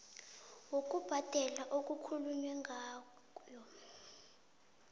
yokubhadela okukhulunywe ngayo